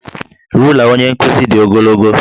Rula onye nkuzi dị ogologo